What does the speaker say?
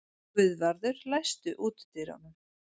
Guðvarður, læstu útidyrunum.